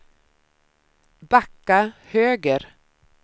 backa höger